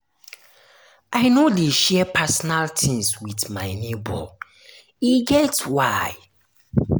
i no dey share my personal tins wit my nebor e get why.